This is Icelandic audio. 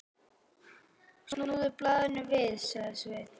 Snúðu blaðinu við, sagði Sveinn.